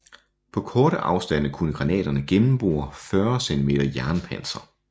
På korte afstande kunne granaterne gennembore 40 cm jernpanser